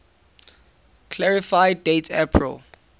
clarify date april